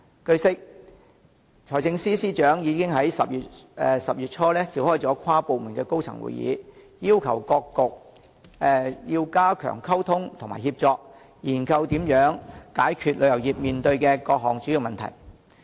據悉，財政司司長已於10月初召開了跨局的高層會議，要求各局加強溝通及協作，研究如何解決旅遊業面對的各項主要問題。